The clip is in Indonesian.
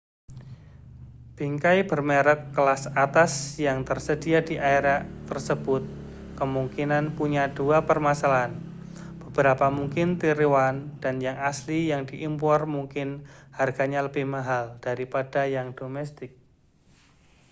bingkai bermerek kelas atas yang tersedia di area tersebut kemungkinan punya dua permasalahan beberapa mungkin tiruan dan yang asli yang diimpor mungkin harganya lebih mahal daripada yang domestik